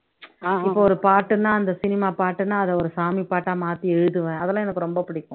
இப்போ ஒரு பாட்டுன்னா அந்த சினிமா பாட்டுன்னா அதை ஒரு சாமி பாட்டா மாத்தி எழுதுவேன் அதெல்லாம் எனக்கு ரொம்ப புடிக்கும்